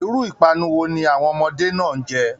Iru ipanu wo ni àwọn ọmọdé náà n jẹ?